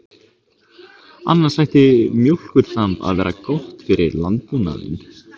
Annars ætti mjólkurþamb að vera gott fyrir landbúnaðinn.